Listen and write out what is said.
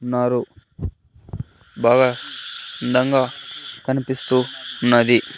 ఉన్నారు బాగా అందంగా కనిపిస్తూ ఉన్నది.